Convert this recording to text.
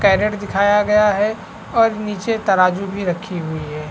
Current दिखाया गए है और निचे तराजु भी रखी हुई है।